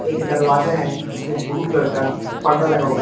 एक दरवाजा है जिसमें ब्लू कलर का पर्दा लगा हुआ--